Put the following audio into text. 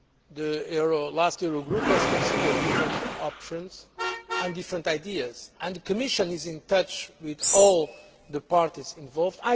The last Euro Group considered different options and different ideas, and the Commission is in touch with all the parties involved.